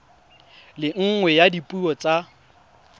le nngwe ya dipuo tsa